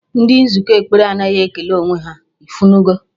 Ndị nzukọ ekpere anaghị ekele onwe ha, ifunugo